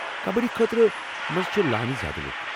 کبڈی خٲطرٕ چھِ لٲنہِ منٛز زیٛادٕ لوٗکھ۔